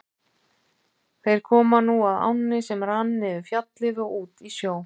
Þeir komu nú að ánni sem rann niður Fjallið og út í sjó.